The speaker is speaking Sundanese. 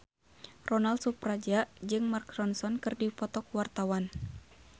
Ronal Surapradja jeung Mark Ronson keur dipoto ku wartawan